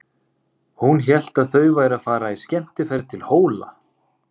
Hún hélt að þau væru að fara í skemmtiferð til Hóla.